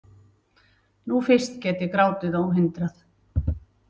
Nú fyrst get ég grátið óhindrað.